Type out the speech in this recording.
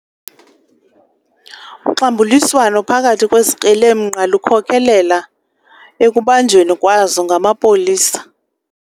Uxambuliswano phakathi kwezikrelemnqa lukhokelele ekubanjweni kwazo ngamapolisa.